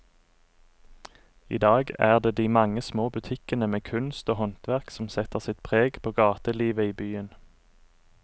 I dag er det de mange små butikkene med kunst og håndverk som setter sitt preg på gatelivet i byen.